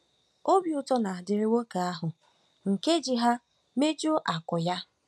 Obi ụtọ na-adịrị nwoke ahụ nke ji ha mejuo akụ́ ya. ”